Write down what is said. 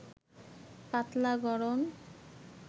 পাতলা গড়ন